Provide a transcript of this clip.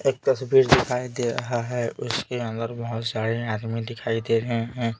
एक तस्वीर दिखाई दे रहा है उसके अंदर बहुत सारे आदमी दिखाई दे रहे हैं।